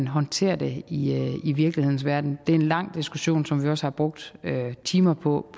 håndterer det i virkelighedens verden det er en lang diskussion som vi også har brugt timer på